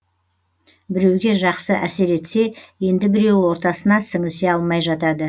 біреуге жақсы әсер етсе енді біреуі ортасына сіңісе алмай жатады